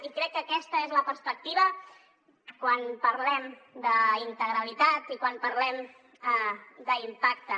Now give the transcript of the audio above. i crec que aquesta és la perspectiva quan parlem d’integralitat i quan parlem d’impacte